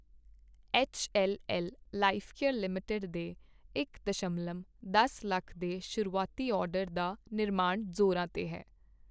HLL Lifecare Limited ਦੇ ਇਕ ਦਸ਼ਮਲਵ ਦਸ ਲੱਖ ਦੇ ਸ਼ੁਰੂਆਤੀ ਆਰਡਰ ਦਾ ਨਿਰਮਾਣ ਜ਼ੋਰਾਂ ਤੇ ਹੈ।